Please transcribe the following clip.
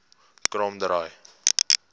kromdraai